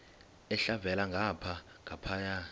elhavela ngapha nangapha